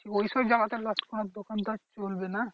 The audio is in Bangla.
ওইসব জায়গাতে দশকর্মার দোকান তো আর চলবে না।